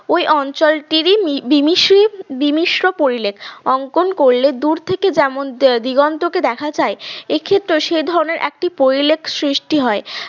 ওই অঞ্চলটির বিমিস্রি বিমিশ্র পরিলেখ অঙ্কন করলে দূর থেকে যেমন দিগন্তকে দেখা যায় এক্ষেত্রেও সে ধরনের একটি পরিলেখ সৃষ্টি হয়